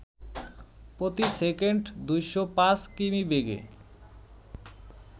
প্রতি সেকেন্ড ২০৫ কিমি বেগে